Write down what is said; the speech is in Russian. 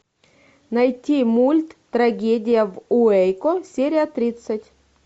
найти мульт трагедия в уэйко серия тридцать